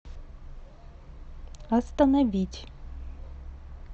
остановить